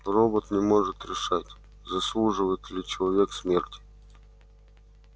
робот не может решать заслуживает ли человек смерти